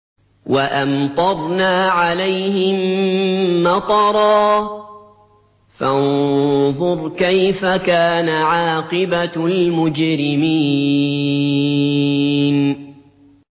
وَأَمْطَرْنَا عَلَيْهِم مَّطَرًا ۖ فَانظُرْ كَيْفَ كَانَ عَاقِبَةُ الْمُجْرِمِينَ